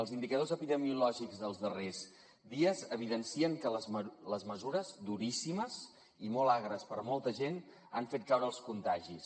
els indicadors epidemiològics dels darrers dies evidencien que les mesures duríssimes i molt agres per molta gent han fet caure els contagis